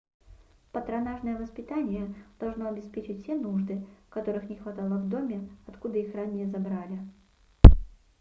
патронажное воспитание должно обеспечить все нужды которых не хватало в доме откуда их ранее забрали